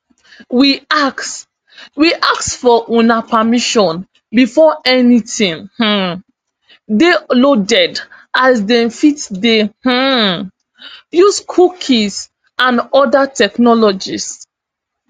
we ask we ask for una permission before anytin um dey loaded as dem fit dey um use cookies and oda technologies